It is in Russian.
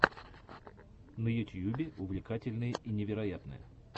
на ютьюбе увлекательное и невероятное